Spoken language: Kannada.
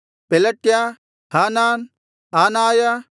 ಪೆಲಟ್ಯ ಹಾನಾನ್ ಆನಾಯ